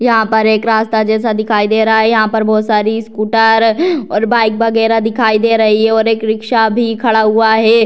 यहाँ पर एक रास्ता जैसा दिखाई दे रहा है यहाँ पर बहुत सारी स्कूटर और बाइक वगैरह दिखाई दे रही है और एक रिक्शा भी खड़ा हुआ है।